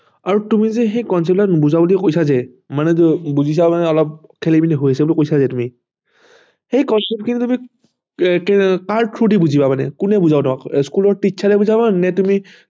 আৰু তুমি সেই concept টো নুবুজা বুলি কৈছা যে মানে তুমি বুজিছা অলপ খেলি মেলি হৈ আছে বুলি কৈছা যে তুমি সেই concept খিনি তুমি কাৰ through দি বুজিবা মানে কোনে বুজাব তোমাক school ৰ teacher বুজাব নে তুমি